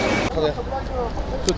Xodlayın, xodlayın.